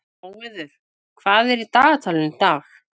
Móeiður, hvað er í dagatalinu í dag?